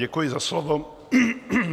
Děkuji za slovo.